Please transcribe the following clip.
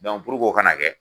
Dɔnku purke o' kana kɛ